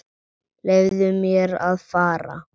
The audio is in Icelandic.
Leyfðu mér að fara.